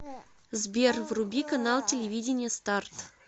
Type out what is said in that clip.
сбер вруби канал телевидения старт